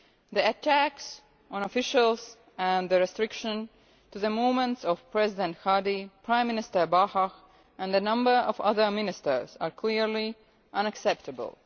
The attacks on officials and the restriction on the movements of President Hadi, Prime Minister Bahah and a number of other Ministers are clearly unacceptable.